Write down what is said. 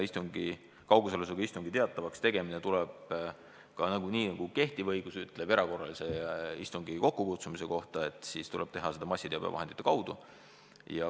Kaugosalusega istung tuleb teatavaks teha, nii nagu kehtiv õigus ütleb erakorralise istungjärgu kokkukutsumise kohta, massiteabevahendite kaudu.